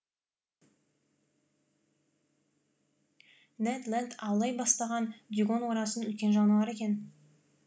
нед ленд аулай бастаған дюгонь орасан үлкен жануар екен